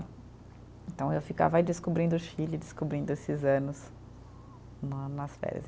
Então, eu ficava aí descobrindo o Chile, descobrindo esses anos né, nas férias.